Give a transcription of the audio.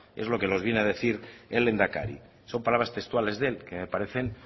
es lo que nos viene a decir el lehendakari son palabras textuales de él que me parecen